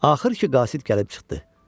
Axır ki qasid gəlib çıxdı.